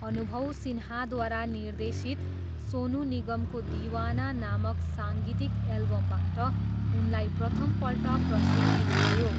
अनुभव सिन्हाद्वारा निर्देशित सोनू निगमको 'दीवाना' नामक साङ्गीतिक एल्बमबाट उनलाई प्रथमपल्ट प्रसिद्धि आयो।